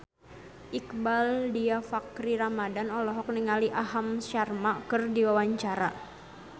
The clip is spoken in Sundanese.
Iqbaal Dhiafakhri Ramadhan olohok ningali Aham Sharma keur diwawancara